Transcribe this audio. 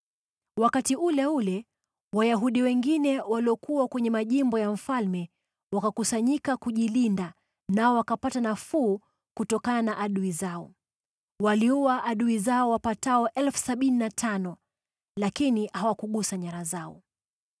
Wakati ule ule, Wayahudi wengine waliokuwa kwenye majimbo ya mfalme, wakakusanyika kujilinda nao wakapata nafuu kutokana na adui zao. Waliua adui zao wapatao 75,000 lakini hawakugusa nyara zao.